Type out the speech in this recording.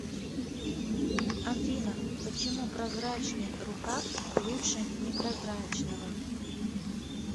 афина почему прозрачный рукав лучше непрозрачного